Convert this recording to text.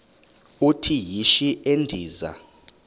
uthi yishi endiza